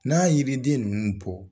N'a yiriden ninnu bɔ.